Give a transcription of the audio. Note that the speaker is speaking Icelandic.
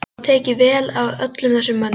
Mér var tekið vel af öllum þessum mönnum.